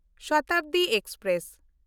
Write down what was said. Shatabdi express